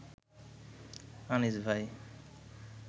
আনিস ভাই